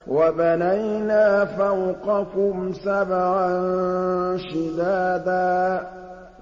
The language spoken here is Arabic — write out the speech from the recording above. وَبَنَيْنَا فَوْقَكُمْ سَبْعًا شِدَادًا